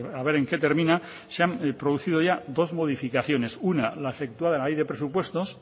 a ver en qué termina se han producido ya dos modificaciones una la efectuada en la ley de presupuestos